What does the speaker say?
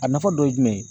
A nafa dɔ ye jumɛn ye